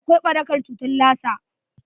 Akwai barakar cutar Lassa.